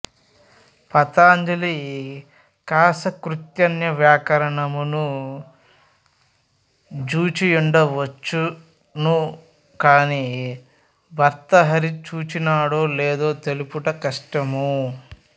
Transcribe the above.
పతంజలి కాశకృత్స్నవ్యాకరణమును జూచియుండవచ్చును కాని భర్తృహరి చూచినాడో లేదో తెలుపుట కష్టము